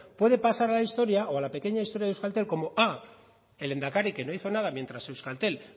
puede pasar a la historia o a la pequeña historia de euskaltel como a el lehendakari que no hizo nada mientras euskaltel